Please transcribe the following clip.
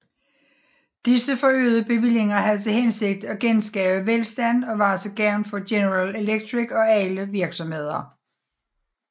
Disse forøgede bevillinger havde til hensigt at genskabe velstand og være til gavn for General Electric og alle virksomheder